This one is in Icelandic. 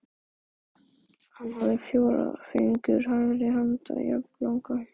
Hann hafði fjóra fingur hægri handar jafnlanga.